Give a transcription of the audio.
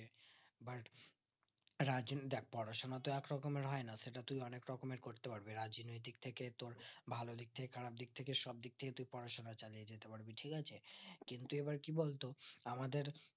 রাজন দেখ পড়াশোনা তো এক রকমের হয় না সেটা তুই অনিক রকমের করতে পারবি রাজনৈতিক থেকে তো ভালো দিক থেকে খারাপ দিক থেকে সব দিক থেকে তুই পড়াশোনা চালিয়ে যেতে পারবি ঠিক আছে কিন্তু এবার কি বলতো আমাদের